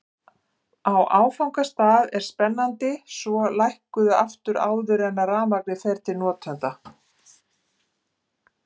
Á áfangastað er spennan svo lækkuð aftur áður en rafmagnið fer til notenda.